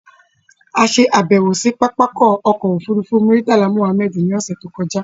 A ṣe àbẹ̀wò sí pápákọ̀ ọkọ̀ òfurufú Murtala Mohammed ní ọ̀ṣẹ̀ tó kọjá